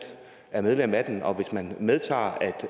er medlemmer af den og hvis man medtager